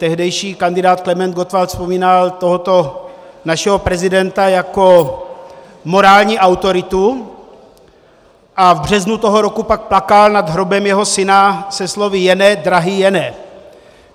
Tehdejší kandidát Klement Gottwald vzpomínal tohoto našeho prezidenta jako morální autoritu a v březnu toho roku pak plakal nad hrobem jeho syna se slovy "Jene, drahý Jene".